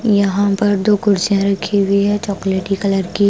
यहां पर दो कुर्सियां रखी हुई है चॉकलेटी कलर की--